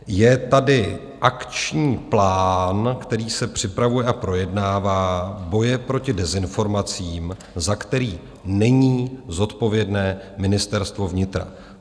Je tady akční plán, který se připravuje a projednává, boje proti dezinformacím, za který není zodpovědné Ministerstvo vnitra.